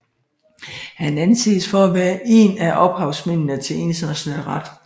Han anses for at være en af ophavsmændene til international ret